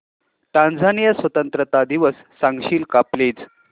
Tanzania स्वतंत्रता दिवस सांगशील का प्लीज